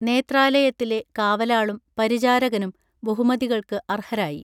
നേത്രാലയത്തിലെ കാവലാളും പരിചാരകനും ബഹുമതികൾക്ക് അർഹരായി